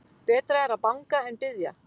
Betra er að banga en biðja.